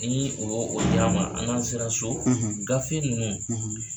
Nii u y'o o di an ma a n'an sera so, gafe ninnu